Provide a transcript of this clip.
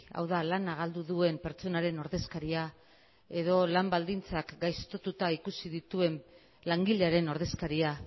hau da lana galdu duen pertsonaren ordezkaria edo lan baldintzak gaiztotuta ikusi dituen langilearen ordezkaria